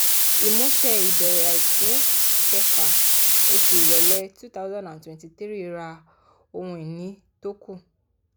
ìmúṣẹ bẹ̀rẹ̀ àìkú kẹfà òṣù èrèlé twenty twenty three ra ohun ìní tó kù.